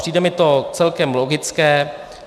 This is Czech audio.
Přijde mi to celkem logické.